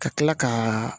Ka tila ka